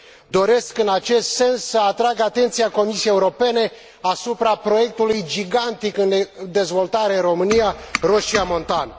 Doresc, în acest sens, să atrag atenția Comisiei Europene asupra proiectului gigantic în dezvoltare în România, Roșia Montană.